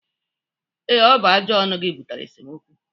Ee, ọ bụ ajọ ọnụ gị butere esemokwu